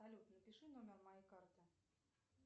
салют напиши номер моей карты